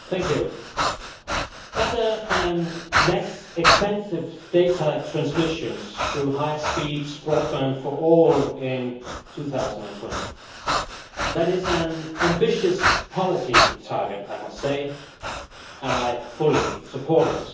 Madam President, better and less expensive data transmission through high speed broadband for all in 2020 that is an ambitious policy target, I must say, and I fully support it.